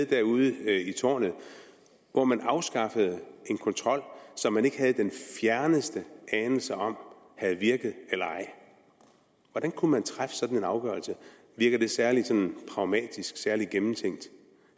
derude i tårnet hvor man afskaffede en kontrol som man ikke havde den fjerneste anelse om havde virket eller ej hvordan kunne man træffe sådan en afgørelse virker det særlig sådan pragmatisk særlig gennemtænkt